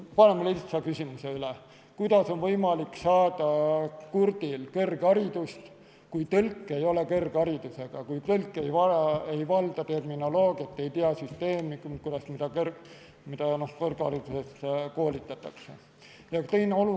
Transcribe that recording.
Lihtne küsimus: kuidas on võimalik kurdil saada kõrgharidust, kui tõlk ei ole kõrgharidusega, ei valda terminoloogiat, ei tea süsteemi, mille alusel kõrghariduses koolitatakse?